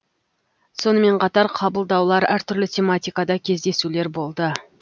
сонымен қатар қабылдаулар әртүрлі тематикада кездесулер болды